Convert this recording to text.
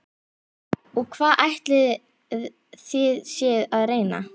Og hvað ætlið þið séuð að reyna?